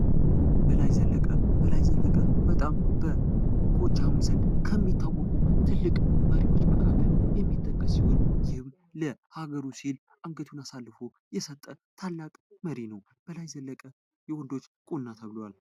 በላይ ዘለቀ፦ በላይ ዘለቀ በጣም በጎጃም ዘንድ በጣም ከሚታወቁ ትልልቅ መሪዎች መካከል የሚጠቅስ ሲሆን ይህም ለሀገሩ ሲል ራሱን አሳልፎ የሰጠ ታላቅ መሪ ነው። በላይ ዘለቀ የወንዶች ቁና ተብሏል።